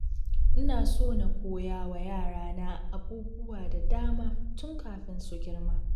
Ina so na koya wa yarana abubuwa da dama tun kafin su girma.